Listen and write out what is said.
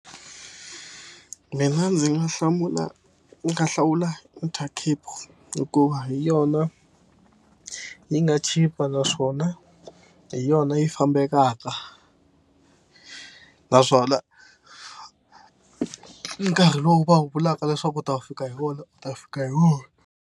Mina ndzi nga hlamula ni nga hlawula Intercape hikuva hi yona yi nga chipa naswona hi yona yi fambekaka naswona nkarhi lowu va wu vulaka leswaku u ta fika hi wona u ta fika hi wona.